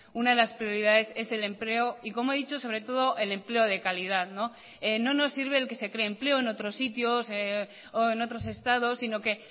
una de las prioridades es el empleo y como he dicho sobre todo el empleo de calidad no nos sirve el que se cree empleo en otros sitios o en otros estados sino que